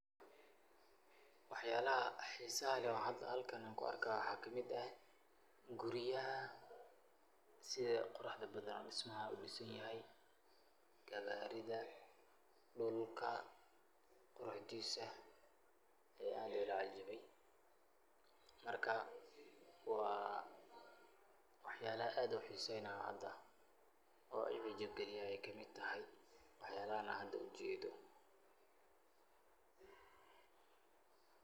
Wax yalaha xisaha leh oo halkan an ku arko waxaa kamid ah guryaha oo si hisa leh so disay oo aad iyo aad ii hiso galiyen ayey kamid tahay , marka waa waxyalaha an aad u hiseynaya ayey kamid tahay. oo imejigan ay kamid tahay oo wax yalahan hada an ujedo.